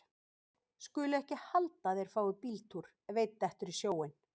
Skulu ekki halda að þeir fái bíltúr ef einn dettur í sjóinn.